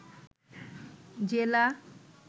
জেলা